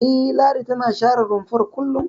E, Ladi tana share rumfar kullum.